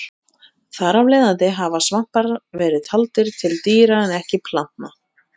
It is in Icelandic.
Þar af leiðandi hafa svampar verið taldir til dýra en ekki plantna.